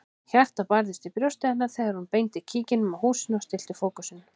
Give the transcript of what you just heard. Hjartað barðist í brjósti hennar þegar hún beindi kíkinum að húsinu og stillti fókusinn.